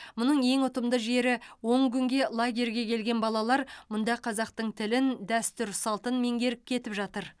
мұның ең ұтымды жері он күнге лагерьге келген балалар мұнда қазақтың тілін дәстүр салтын меңгеріп кетіп жатыр